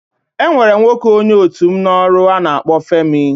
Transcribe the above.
E nwere nwoke onye otu m n'ọrụ a na-akpọ Femi.